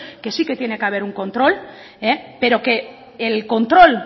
que sí que tiene que haber un control pero que el control